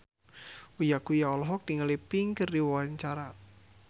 Uya Kuya olohok ningali Pink keur diwawancara